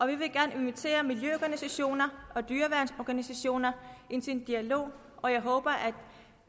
vi vil gerne invitere miljøorganisationer og dyreværnsorganisationer til en dialog og jeg håber at